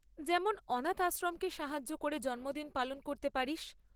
যেমন অনাথ আশ্রমকে সাহায্য করে জন্মদিন পালন করতে পারিস।